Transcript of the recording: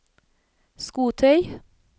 skotøy